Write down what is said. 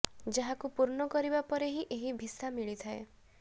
ଯାହାକୁ ପୂର୍ଣ୍ଣ କରିବା ପରେ ହିଁ ଏହି ଭିସା ମିଳିଥାଏ